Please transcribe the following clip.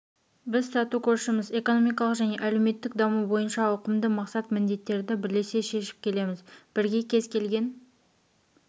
біз тату көршіміз экономикалық және әлеуметтік даму бойынша ауқымды мақсат-міндеттерді бірлесе шешіп келеміз бірге кез келген